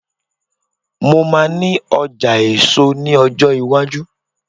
mo ma ní ọjà èso ní ọjọ iwaju